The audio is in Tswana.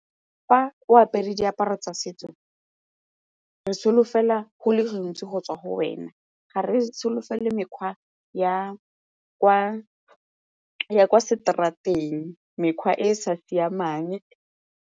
Fa o apere diaparo tsa setso re solofela go le gantsi go tswa go wena, ga re solofele mekgwa ya kwa seterateng mekgwa e e sa siamang.